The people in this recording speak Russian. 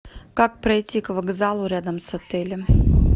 как пройти к вокзалу рядом с отелем